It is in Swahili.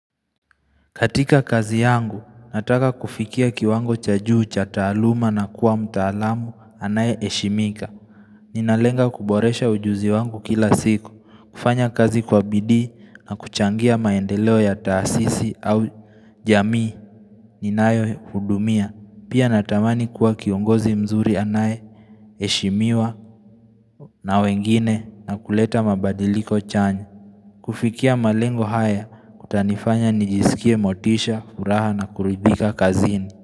Katika kazi yangu, nataka kufikia kiwango cha juu cha taaluma na kuwa mtaalamu anaye heshimika. Ninalenga kuboresha ujuzi wangu kila siku, kufanya kazi kwa bidio na kuchangia maendeleo ya taasisi au jamii, ninaayo hudumia. Pia natamani kuwa kiongozi mzuri anaye heshimiwa na wengine na kuleta mabadiliko chanya. Kufikia malengo haya, kutanifanya nijisikie motisha, furaha na kuribika kazini.